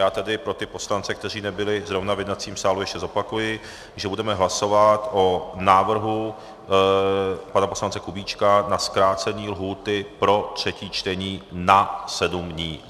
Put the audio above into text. Já tedy pro ty poslance, kteří nebyli zrovna v jednacím sále, ještě zopakuji, že budeme hlasovat o návrhu pana poslance Kubíčka na zkrácení lhůty pro třetí čtení na sedm dnů.